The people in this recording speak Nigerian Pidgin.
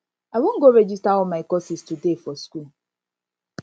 i wan go register all my courses today for school